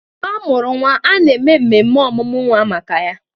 Mgbe amụrụ nwa, a na-eme mmemme ọmụmụ nwa maka ya